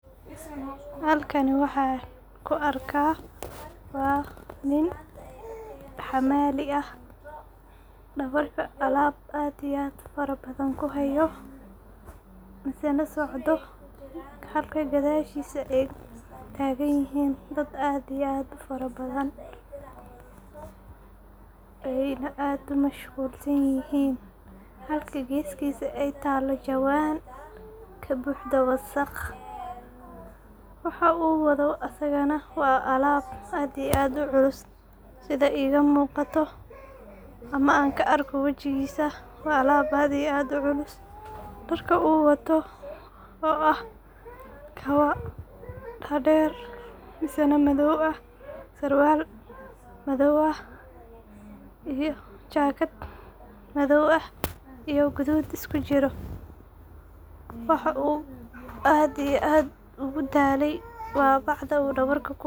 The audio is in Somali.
Halkani waxan ku arkaa waa nin hamali ah oo dabarkana calab aad iyo aad u culus kusito, misena socdo halka gadashisa ay tagan yihin dad aad iyo aad u faro badan ayna aad u mashqul sanyihin halka gestisa ay talo jawan kabuhdo wasaqa waxa u wadho asagana waa calab aad iyo aad u culus sidha iga muqato ama an ka arko wajigisa caalab aad iyo aad u culus ,dharka u wata oo ah kabo dadher misena madow ah sarwal ,mise jakad madow ah iyo gadud isku jira. Waxa aad iyo aad ugu dhalay waa bacda dabarka kuwato.